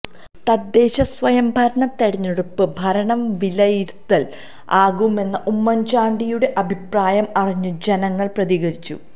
തദ്ദേശ സ്വയം ഭരണ തിരഞ്ഞെടുപ്പ് ഭരണം വിലയിരുത്തല് ആകുമെന്ന ഉമ്മന്ചാണ്ടി യുടെ അഭിപ്രായം അറിഞ്ഞു ജനങ്ങള് പ്രതികരിച്ചു